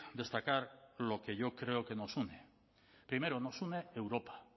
destacar lo que yo creo que nos une primero nos une europa